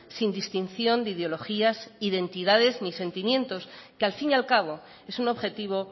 sin distinción de ideologías identidades ni sentimientos que al fin y al cabo es un objetivo